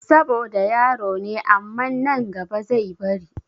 Saboda yaro ne aman nan gaba zai bari